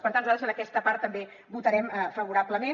per tant nosaltres en aquesta part també votarem favorablement